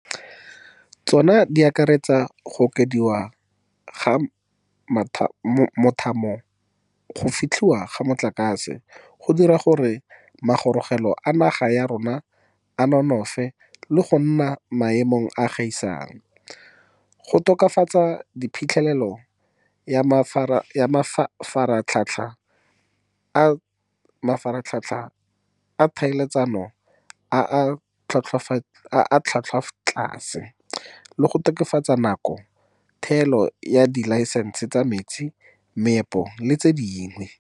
Tsona di akaretsa go okediwa ga mothamo wa go fetlhiwa ga motlakase, go dira gore magorogelo a naga ya rona a nonofe le go nna a maemo a a gaisang, go tokafatsa phitlhelelo ya mafaratlhatlha a tlhaeletsano a a tlhwatlhwatlase, le go tokafatsa nako ya thebolo ya dilaesense tsa metsi, meepo le tse dingwe.